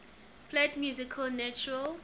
flat music natural